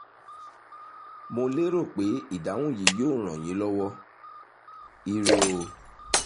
mo lérò pé ìdáhùn yìí yóò ràn yín lọ́wọ́! ire o